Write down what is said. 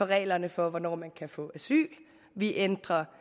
reglerne for hvornår man kan få asyl vi ændrer